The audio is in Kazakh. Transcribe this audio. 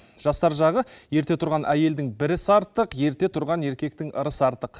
жастар жағы ерте тұрған әйелдің бір ісі артық ерте тұрған еркектің ырысы артық